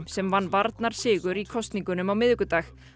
sem vann varnarsigur í kosningunum á miðvikudag